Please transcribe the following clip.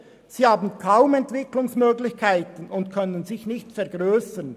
Sie verfügen kaum über Entwicklungsmöglichkeiten und können sich nicht vergrössern.